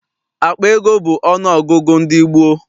Akpa ego bụ ọnụ ọgụgụ ndị gboo.